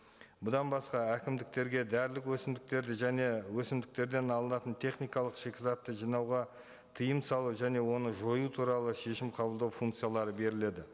бұдан басқа әкімдіктерге дәрілік өсімдіктерді және өсімдіктерден алынатын техникалық шикізатты жинауға тыйым салу және оны жою туралы шешім қабылдау функциялары беріледі